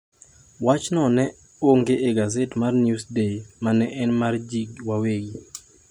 Wach no ne ogo e gaset mar Newsday ma ne en mar ji wawegi.